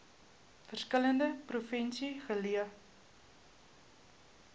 verskillende provinsies geleë